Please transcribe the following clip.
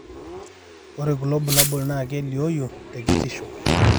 ore kulo bulabol naa kelioyu tekitisho.